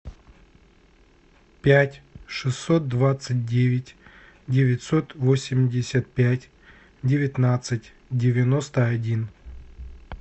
пять шестьсот двадцать девять девятьсот восемьдесят пять девятнадцать девяносто один